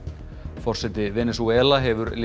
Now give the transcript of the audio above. forseti Venesúela hefur léð